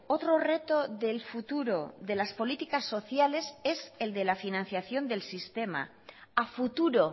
otro reto del futuro de las políticas sociales es el de la financiación del sistema a futuro